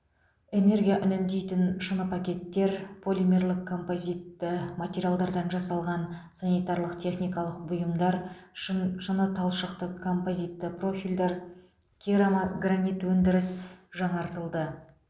энергия үнемдейтін шыныпакеттер полимерлік композитті материалдардан жасалған санитарлық техникалық бұйымдар шын шыныталшықты композитті профильдер керамогранит өндіріс жаңартылды